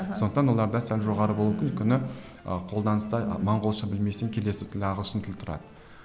сондықтан оларда сәл жоғары болуы мүмкін өйткені ы қолданысты моңғолша білмесең келесі тіл ағылшын тілі тұрады